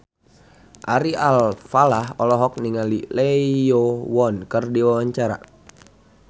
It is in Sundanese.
Ari Alfalah olohok ningali Lee Yo Won keur diwawancara